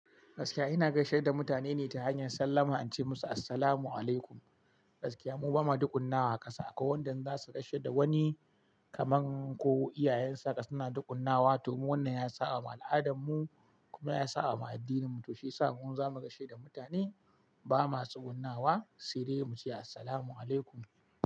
Gaskiya ina gaishe da mutane ne ta hanyar sallama, ance musu Assalamualaikum. Gaskiya mu ba ma dukunnawa a ƙasa, akwai wanda za su gaishe da wani kamar ko iyayensa suna dukunnawa domin wannan ya saba ma al'adan mu kuma ya saba ma addininmu to shi yasa idan zamu gaishe da mutane ba ma tsugunnawa, sai dai muce Assalamualaikum.